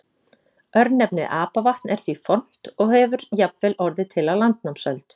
Örnefnið Apavatn er því fornt og hefur jafnvel orðið til á landnámsöld.